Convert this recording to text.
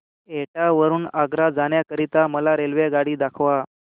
एटा वरून आग्रा जाण्या करीता मला रेल्वेगाडी दाखवा